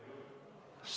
Sõnavõtusoovi ei ole.